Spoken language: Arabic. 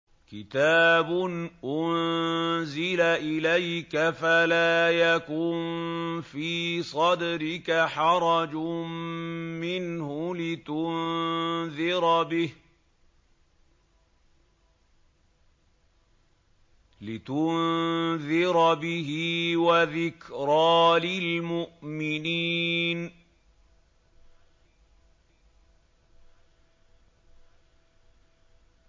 كِتَابٌ أُنزِلَ إِلَيْكَ فَلَا يَكُن فِي صَدْرِكَ حَرَجٌ مِّنْهُ لِتُنذِرَ بِهِ وَذِكْرَىٰ لِلْمُؤْمِنِينَ